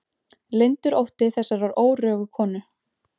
Leyndur ótti þessarar órögu konu.